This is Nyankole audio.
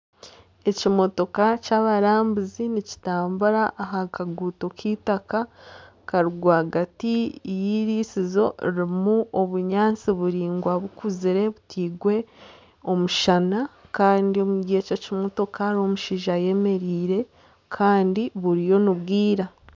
Ekimotoka ky'abarambuzi nizitambura aha kaguuto k'eitaka kari rwagati y'irisizo ririmu obunyaatsi buraingwa bukuzire butairwe omushana kandi omuri ekyo kimotoka harimu omushaija ayemereire kandi buriyo nibwira